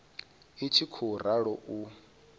i tshi khou ralo u